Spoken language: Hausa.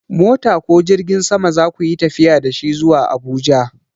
Mota ko jirgin sama za ku yi tafiya da shi zuwa Abuja?